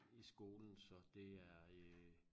I skolen så det er øh